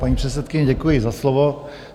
Paní předsedkyně, děkuji za slovo.